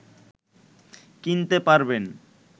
কিনতে পারবেন